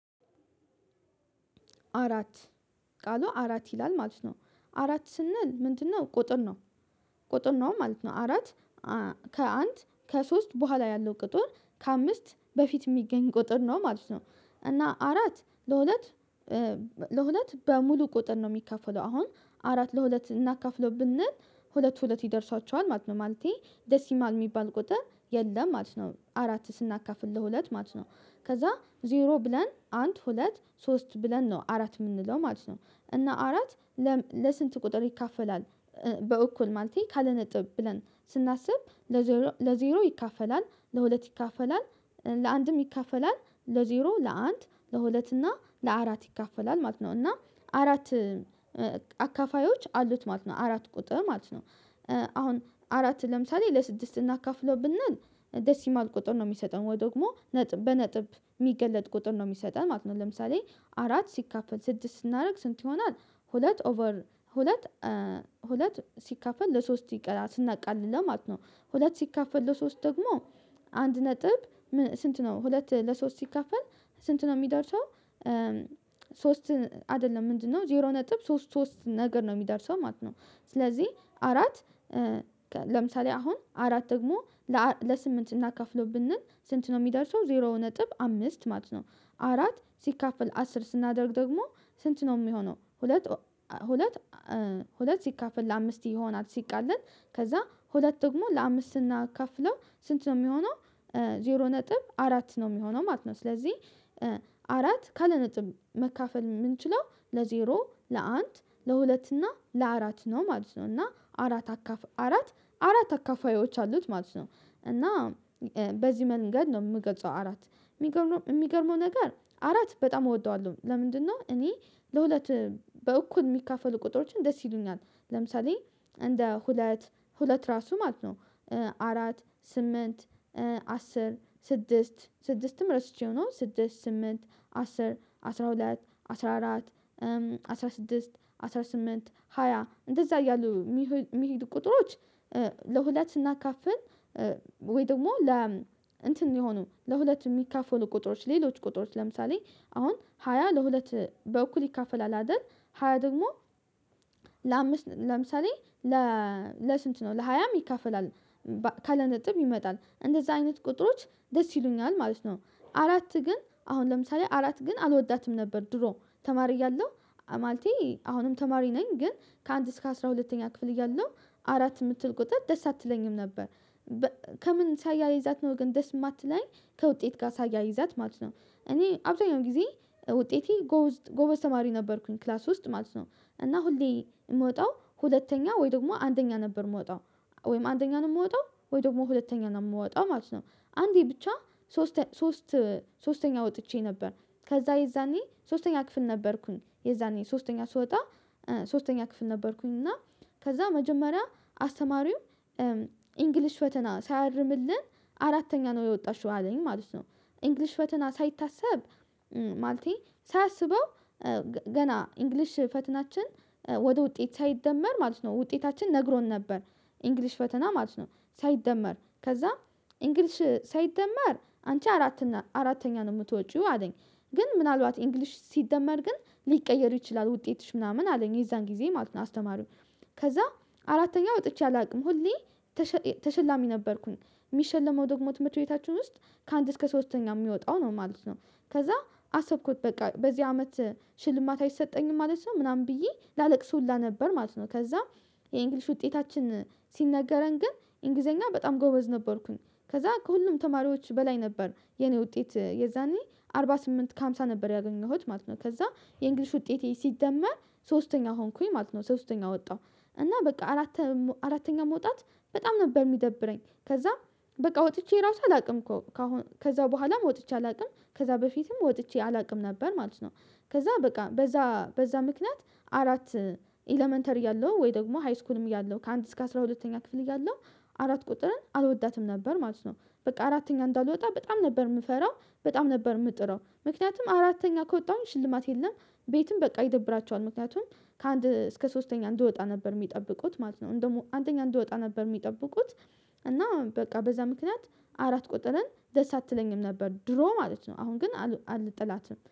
አራት። ቃሉ አራት ይላል ማለት ነው አራት ስንል ምንድነው? ቁጥር ነው። ቁጥር ነው ማለት ነው አራት። ከአንድ ከሶስት በኋላ ያለው ቁጥር ከአምስት በፊት የሚገኝ ቁጥር ነው ማለት ነው። እና አራት። ለሁለት በሙሉ ቁጥር ነው የሚከፈለው አሁን አራት ለሁለት እናካፍለው ብንል ሁለት ሁለት ይደርሷቸዋል ማለት ነው። ማለቴ ዴሲይማል የሚባል ቁጥር የለም ማለት ነው። አራትን ስናካፍል ለሁለት ማለት ነው። ከዛ ዜሮ ብለን አንድ ሁለት ሶስት ብለን ነው አራት የምንለው ማለት ነው። እና አራት ለስንት ቁጥር ይካፈላል? በእኩል ማለቴ ካለ ነጥብ ብለን ስናስብ ለዜሮ ለዜሮ ይካፈላል ለሁለት ይካፈላል ለአንድም ይካፈላል ለዜሮ ለአንድ ለሁለት እና ለአራት ይካፈላል ማለት ነው። እና አራት አካፋዮች አሉት ማለት ነው አራት ቁጥር ማለት ነው። አሁን አራት ለምሳሌ ለስድስት እናካፍለው ብንል ዴይሲማል ቁጥር ነው የሚሰጠው ወይ ደግሞ በነጥብ የሚገለጥ ቁጥር ነው የሚሰጠው ማለት ነው። ለምሳሌ አራት ሲካፈል ስድስት ስናደርግ ስንት ይሆናል? ሁለት ኦቨር ሁለት ሲካፈል ለሶስት ይቀራል ስናቃልለው ለማለት ነው። ሁለት ሲከፋፈል ለሶስት ደግሞ አንድ ነጥብ ስንት ነው ሁለት ለሶስት ሲከፋፈል ስንት ነው የሚደርሰው? ሶስት አይደለም ምንድነው ዜሮ ነጥብ ሶስት ሶስት ነገር ነው የሚደርሰው ማለት ነው። ስለዚህ አራት ለምሳሌ አሁን አራት ደግሞ ለስምንት እናካፍለው ብንል ስንት ነው የሚደርሰው ዜሮ ነጥብ አምስት ማለት ነው። አራት ሲካፈል አስር ስናደርግ ደግሞ ስንት ነው የሚሆነው? ሁለት ሁለት ሁለት ሲካፈል ለአምስት ይሆናል ሲቃለን ከዛ ሁለት ደግሞ ለአምስት እናካፍለው ስንት ነው የሚሆነው ዜሮ ነጥብ አራት ነው የሚሆነው ማለት ነው። ስለዚህ አራት ካለ ነጥብ መካፈል የምንችለው ለዜሮ ለአንድ ለሁለት እና ለአራት ነው ማለት ነው። እና አራት አካፋይ አራት አራት አካፋዮች አሉት ማለት ነው። እና በዚህ መንገድ ነው የምገጸው። አራት የሚገርመው ነገር አራት በጣም እወደዋለሁ። ለምንድነው? እኔ ለሁለት በእኩል የሚካፈሉ ቁጥሮችን ደስ ይሉኛል። ለምሳሌ እንደ ሁለት ሁለት ራሱ ማለት ነው። አራት ስምንት አስር ስድስት ስድስትም ረስቼው ነው ስድስት ስምንት አስር አስራ ሁለት አስራ አራት አስራ ስድስት አስራ ስምንት ሃያ እንደዛ እያሉ የሚሄዱ ቁጥሮች። ለሁለት ስናካፍል ወይ ደግሞ ለ እንትን የሆኑ ለሁለት የሚካፈሉ ቁጥሮች ሌሎች ቁጥሮች ለምሳሌ አሁን ሃያ ለሁለት በኩል ይካፈላል አይደል። ሃያ ደግሞ ለአምስት ለምሳሌ ለስንት ነው ለሃያም ይከፍላል? ካለ ነጥብ ይመጣል እንደዛ አይነት ቁጥሮች ደስ ይሉኛል ማለት ነው። አራት ግን አሁን ለምሳሌ አራት ግን አልወዳትም ነበር ድሮ ተማሪ ያለው ማለቴ አሁንም ተማሪ ነኝ ግን ከአንድ እስከ አስራ ሁለተኛ ክፍል እያለሁ አራት የምትል ቁጥር ደስ አትለኝም ነበር። ከምን ሳያይዛት ነው ግን ደስ የማትለኝ ከውጤት ጋር ሳያይዛት ማለት ነው። እኔ አብዛኛው ጊዜ ውጤቴ ጎበዝ ተማሪ ነበርኩኝ ክላስ ውስጥ ማለት ነው። እና ሁሌ የምወጣው ሁለተኛ ወይ ደግሞ አንደኛ ነበር የምወጣው ወይም አንደኛ ነው የምወጣው ወይ ደግሞ ሁለተኛን ነው የምወጣው ማለት ነው። አንዴ ብቻ ሶስተኛ ሶስት ሶስተኛ ወጥቼ ነበር። ከዛ የዛኔ ሶስተኛ ክፍል ነበርኩኝ የዛኔ ሶስተኛ ስወጣ ሶስተኛ ክፍል ነበርኩኝ እና ከዛ መጀመሪያ አስተማሪው ኢንግሊሽ ፈተና ሳያርምልን አራተኛ ነው የወጣሽው አለኝ ማለት ነው። እንግሊሽ ፈተና ሳይታሰብ ማለቴ ሳያስበው ገና እንግሊሽ ፈተናችን ወደ ውጤት ሳይደመር ማለት ነው ውጤታችን ነግሮን ነበር። እንግሊሽ ፈተና ማለት ነው ሳይደመር ከዛ እንግሊሽ ሳይደመር አንቺ አራተኛ ነው የምትወጪው አለኝ። ግን ምናልባት እንግሊሽ ሲደመር ግን ሊቀየር ይችላል ውጤትሽ ምናምን አለኝ የዛን ጊዜ ማለት ነው። አስተማሪው ከዛ አራተኛ ወጥቼ አላውቅም ሁሌ ተሸላሚ ነበርኩኝ። የሚሸለመው ደግሞ ትምህርት ቤታችን ውስጥ ከአንድ እስከ ሶስተኛ የሚወጣው ነው ማለት ነው። ከዛ አሰብኩት በቃ በዚህ አመት ሽልማት አይሰጠኝም ማለት ነው ምናምን ብዬ ላለቅስ ሁላ ነበር ማለት ነው። ከዛም የእንግሊሽ ውጤታችን ሲነገረን ግን እንግሊዘኛ በጣም ጎበዝ ነበርኩኝ። ከዛ ከሁሉም ተማሪዎች በላይ ነበር የኔ ውጤት የዛኔ አርባ ስምንት ከአምሳ ነበር ያገኘሁት ማለት ነው። ከዛ የእንግሊሽ ውጤቴ ሲደመር ሶስተኛ ሆንኩኝ ማለት ነው ሶስተኛ ወጣሁ። እና በቃ አራተኛ አራተኛ መውጣት በጣም ነበር የሚደብረኝ። ከዛም በቃ ወጥቼ ራሱ አላውቅም እኮ ከዛ በኋላም ወጥቼ አላውቅም ከዛ በፊትም ወጥቼ አላውቅም ነበር ማለት ነው። ከዛ በቃ በዛ በዛ ምክንያት አራት ኤለመንተሪ እያለሁ ወይ ደግሞ ሃይስኩልም እያለሁ ከአንድ እስከ አስራ ሁለተኛ ክፍል እያለው አራት ቁጥርን አልወዳትም ነበር ማለት ነው። በቃ አራተኛ እንዳልወጣ በጣም ነበር የምፈራው በጣም ነበር የምጥረው ምክንያቱም አራተኛ ከወጣሁኝ ሽልማት የለም። ቤትም በቃ ይደብራቸዋል ምክንያቱም ከአንድ እስከ ሶስተኛ እንድወጣ ነበር የሚጠብቁት ማለት ነው። እንደው አንደኛ እንድወጣ ነበር የሚጠብቁት። እና በቃ በዛ ምክንያት አራት ቁጥርን ደስ አትለኝም ነበር ድሮ ማለት ነው። አሁን ግን አልጠላትም